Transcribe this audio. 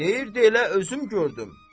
Deyirdi elə özüm gördüm.